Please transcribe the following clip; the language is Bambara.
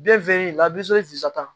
Den fɛn la